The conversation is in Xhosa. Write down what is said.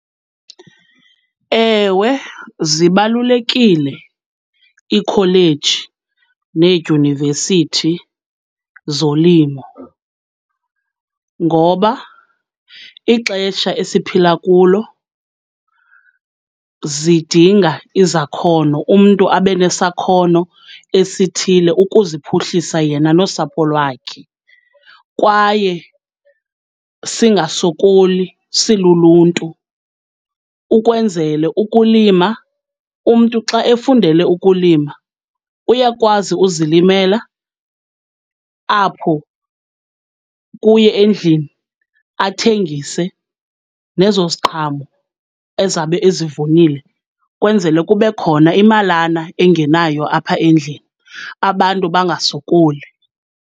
Ewe zibalulekile iikholeji needyunivesithi zolimo, ngoba ixesha esiphila kulo zidinga izakhono, umntu abe nesakhono esithile ukuziphuhlisa yena nosapho lwakhe. Kwaye singasokoli siluluntu ukwenzele ukulima, umntu xa efundele ukulima uyakwazi uzilimela apho kuye endlini athengise nezo ziqhamo ezabe ezivunile kwenzele kube khona imalana engenayo apha endlini, abantu bangasokoli.